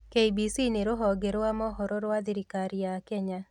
KBC nĩ rũhonge rwa mohoro rwa thirikari ya Kenya.